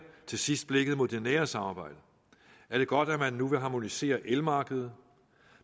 til sidst blikket mod det nære samarbejde er det godt at man nu vil harmonisere elmarkedet